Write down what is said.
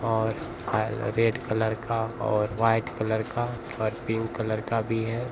और अ red colour का और व्हाइट कलर का और पिंक कलर का भी है।